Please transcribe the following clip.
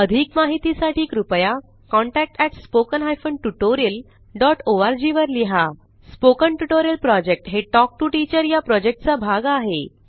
अधिक माहितीसाठी कृपया contact at spoken hyphen tutorial dot O R G वर लिहा स्पोकन ट्युटोरियल प्रॉजेक्ट हे टॉक टू टीचर या प्रॉजेक्टचा भाग आहे